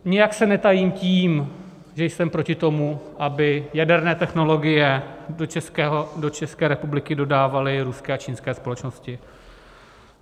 Nijak se netajím tím, že jsem proti tomu, aby jaderné technologie do České republiky dodávaly ruské a čínské společnosti.